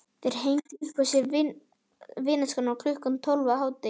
Þeir hengja upp hjá sér vinningaskrána klukkan tólf á hádegi.